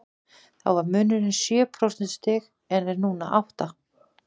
Þá var munurinn sjö prósentustig en er nú átta.